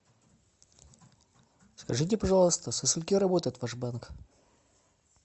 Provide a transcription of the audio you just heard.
скажите пожалуйста со скольки работает ваш банк